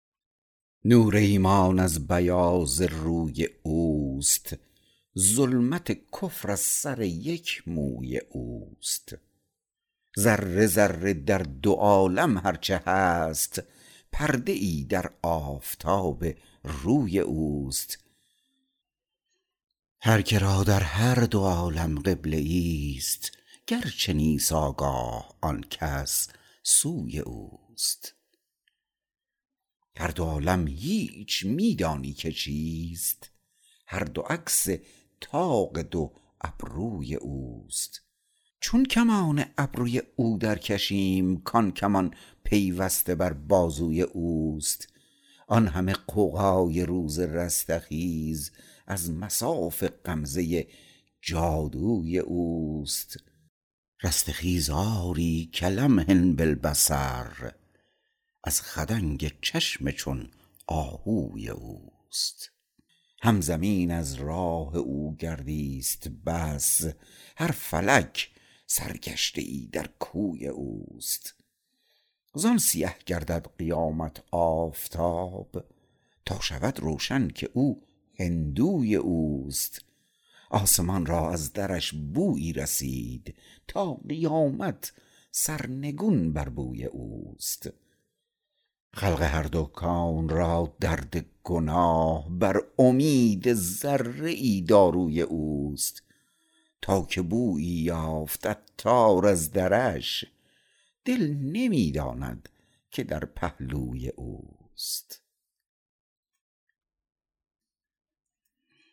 نور ایمان از بیاض روی اوست ظلمت کفر از سر یک موی اوست ذره ذره در دو عالم هر چه هست پرده ای در آفتاب روی اوست هر که را در هر دو عالم قبله ای است گرچه نیست آگاه آنکس سوی اوست هر دو عالم هیچ می دانی که چیست هر دو عکس طاق دو ابروی اوست چون کمان ابروی او درکشیم کان کمان پیوسته بر بازوی اوست آن همه غوغای روز رستخیز از مصاف غمزه جادوی اوست رستخیز آری کلمح باالبصر از خدنگ چشم چون آهوی اوست هم زمین از راه او گردی است بس هر فلک سرگشته ای در کوی اوست زان سیه گردد قیامت آفتاب تا شود روشن که او هندوی اوست آسمان را از درش بویی رسید تا قیامت سرنگون بر بوی اوست خلق هر دو کون را درد گناه بر امید ذره ای داروی اوست تا که بویی یافت عطار از درش دل نمی داند که در پهلوی اوست